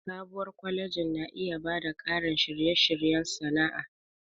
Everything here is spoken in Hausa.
Sabuwar kwalejin na iya ba da ƙarin shirye-shiryen sana'a.